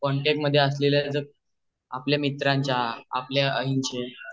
contact मध्ये असलेल्या आपल्या मित्रान्च्या